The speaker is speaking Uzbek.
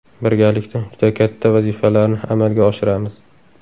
Birgalikda juda katta vazifalarni amalga oshiramiz.